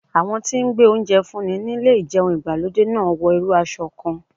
Àwọn tí ń gbé oúnjẹ fún ni nílé ìjẹun ìgbàlódé náà wọ irú aṣọ kan.